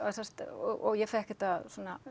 og ég fékk þetta